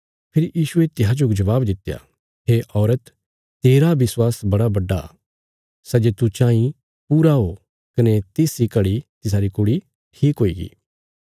फेरी यीशुये तिसाजो जबाब दित्या हे औरत तेरा विश्वास बड़ा बड्डा सै जे तू चाँई पूरा ओ कने तिस इ घड़ी तिसारी कुड़ी ठीक हुईगी